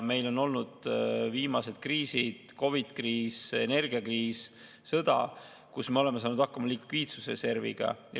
Viimaste kriiside ajal – COVID-kriis, energiakriis, sõda – me oleme saanud hakkama likviidsusreserviga.